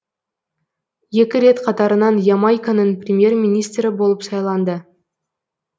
екі рет қатарынан ямайканың премьер министрі болып сайланды